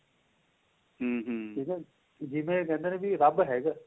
ਠੀਕ ਏ ਜਿਵੇਂ ਕਹਿੰਦੇ ਨੇ ਵੀ ਰੱਬ ਹੈਗਾ